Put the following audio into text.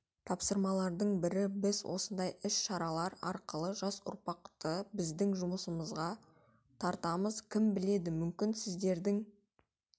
тапсырмалардың бірі біз осындай іс-шаралар арқылы жас ұрпақты біздің жұмысымызға тартамыз кім біледі мүмкін сіздердің